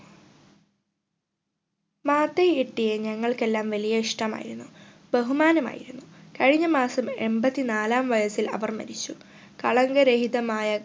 മാതയ് എട്ടിയെ ഞങ്ങൾക്കെല്ലാം വലിയ ഇഷ്ട്ടമായിരുന്നു ബഹുമാനമായിരുന്നു കഴിഞ്ഞ മാസം എമ്പതിനാലാം വയസിൽ അവർ മരിച്ചു കളങ്ക രഹിതമായ